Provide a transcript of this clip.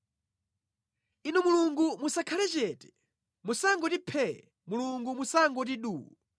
Inu Mulungu musakhale chete; musangoti phee, Mulungu musangoti duu.